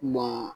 Ma